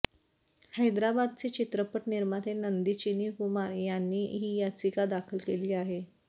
हैदराबादचे चित्रपट निर्माते नंदी चिन्नी कुमार यांनी ही याचिका दाखल केली आहे